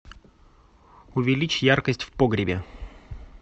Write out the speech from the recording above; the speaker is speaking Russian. увеличь яркость в погребе